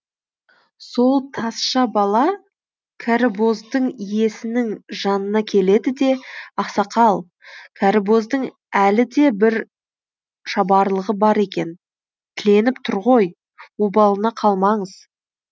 сол тазша бала кәрібоздың иесінің жанына келеді де ақсақал кәрібоздың әлі де бір шабарлығы бар екен тіленіп тұр ғой обалына қалмаңыз